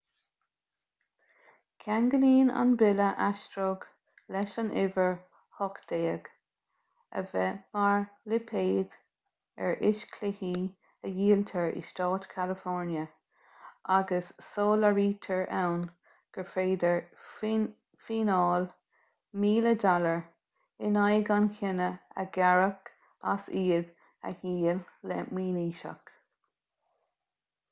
ceanglaíonn an bille aistreog leis an uimhir 18 a bheith mar lipéad ar fhíschluichí a dhíoltar i stát california agus soláthraítear ann gur féidir fíneáil $1000 in aghaidh an chiona a ghearradh as iad a dhíol le mionaoiseach